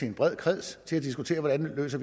en bred kreds til at diskutere hvordan vi løser